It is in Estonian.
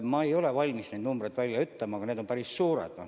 Ma ei ole valmis neid numbreid välja ütlema, aga need on päris suured.